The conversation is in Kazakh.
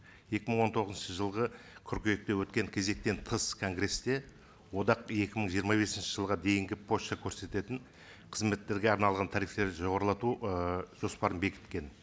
екі мың он тоғызыншы жылғы қыркүйекте өткен кезектен тыс конгрессте одақ екі мың жиырма бесінші жылға дейінгі пошта көрсететін қызметтерге арналған тарифтерді жоғарылату ы жоспарын бекіткен